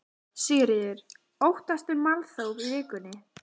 Sigríður: Óttastu málþóf í vikunni?